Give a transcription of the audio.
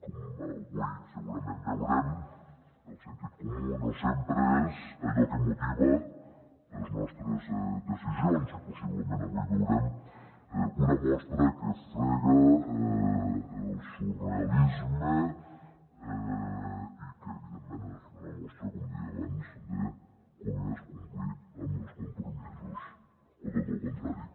com avui segurament veurem el sentit comú no sempre és allò que motiva les nostres decisions i possiblement avui veurem una mostra que frega el surrealisme i que evidentment és una mostra com deia abans de com és complir amb els compromisos o tot lo contrari